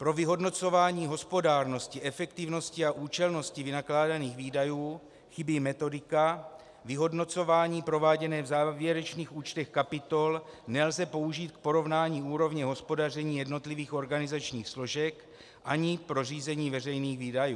Pro vyhodnocování hospodárnosti, efektivnosti a účelnosti vynakládaných výdajů chybí metodika, vyhodnocování prováděné v závěrečných účtech kapitol nelze použít k porovnání úrovně hospodaření jednotlivých organizačních složek ani pro řízení veřejných výdajů.